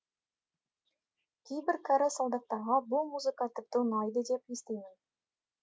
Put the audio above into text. кейбір кәрі солдаттарға бұл музыка тіпті ұнайды деп естимін